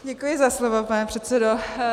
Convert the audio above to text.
Děkuji za slovo, pane předsedo.